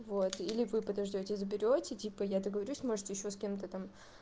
вот или вы подождёте и заберёте типа я договорюсь может ещё с кем-то там